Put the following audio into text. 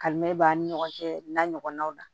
Kalimɛ b'an ni ɲɔgɔn cɛ n'a ɲɔgɔnnaw la